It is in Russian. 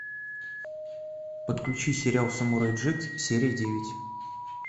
подключи сериал самурай джек серия девять